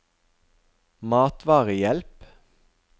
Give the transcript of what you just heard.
matvarehjelp